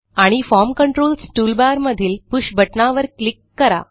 आणि form controls toolbar मधील push बटणावर क्लिक करा